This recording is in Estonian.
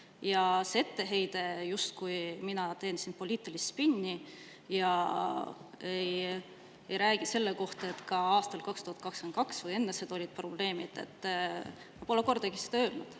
Ja see etteheide, justkui mina teen siin poliitilist spinni ja ei räägi sellest, et ka aastal 2022 või enne seda olid probleemid – ma pole kordagi seda öelnud.